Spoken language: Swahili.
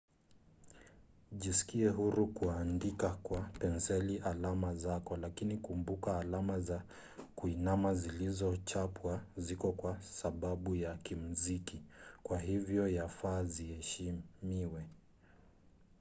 jisikie huru kuandika kwa penseli alama zako lakini kumbuka alama za kuinama zilizochapwa ziko kwa sababu ya kimziki kwa hivyo yafaa ziheshimiwe